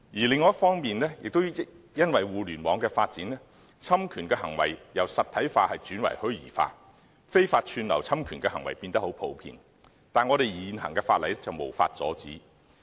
另一方面，也因為互聯網的發展，侵權行為也由實體化轉為虛擬化，非法串流侵權的行為變得很普遍，但現行法例卻無法阻止。